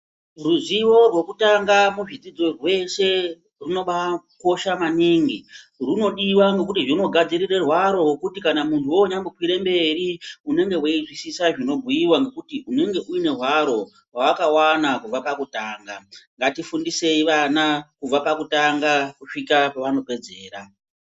Ruzivo rwokutanga muzvidzidzo zveshe runobakosha maningi rinodiwa ngekuti rinogadzirirwa aro rwekuti antu weinya kwira mberi unonzwisisa zvobhuiwa ngekuti unenge une hwaro rwawakawana kubva pakutanga ngatifundisei vana kubva pakutanga kusvika pavanopedzera.